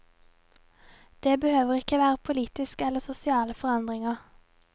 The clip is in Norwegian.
Det behøver ikke være politiske eller sosiale forandringer.